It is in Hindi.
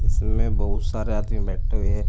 इसमें बहुत सारे आदमी बैठे हुए है।